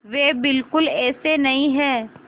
वे बिल्कुल ऐसे नहीं हैं